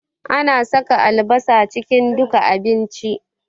Ana saka albasa cikin duka abinci